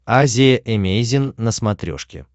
азия эмейзин на смотрешке